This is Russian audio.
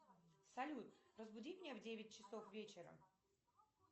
салют разбуди меня в девять часов вечера